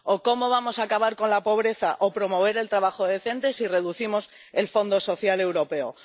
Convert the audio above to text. ¿O cómo vamos a acabar con la pobreza o promover el trabajo decente si reducimos el Fondo Social Europeo?